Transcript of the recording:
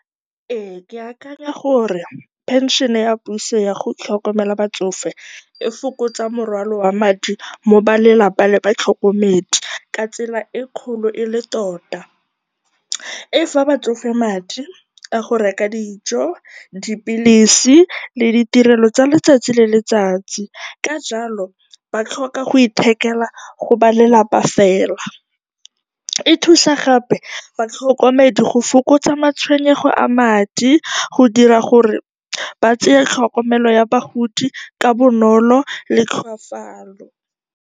Ee, ke akanya gore pension ya puso ya go tlhokomela batsofe e fokotsa morwalo wa madi mo balelapa le batlhokomedi ka tsela e e kgolo e le tota. E fa batsofe madi a go reka dijo, dipilisi le ditirelo tsa letsatsi le letsatsi. Ka jalo, ba tlhoka go ithekela go ba lelapa fela. E thusa gape batlhokomedi go fokotsa matshwenyego a madi go dira gore ba tseye tlhokomelo ya bagodi ka bonolo le tlhofalo.